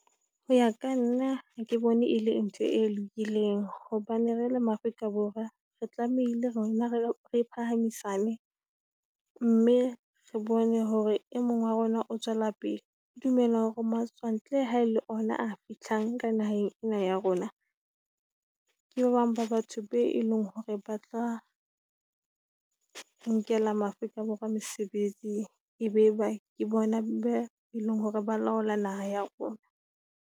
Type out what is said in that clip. Ho ya ka nna ha ke bone e le ntho e lokileng hobane re le Maafrika Borwa re tlamehile rona re phahamisane, mme re bone hore e mong wa rona o tswela pele. Ke dumela hore matswantle ha le ona a fihlang ka naheng ena ya rona ke ba bang ba batho be e leng hore ba tla nkela Maafrikaborwa mesebetsi, e be ba ke bona be eleng hore ba laola naha ya rona.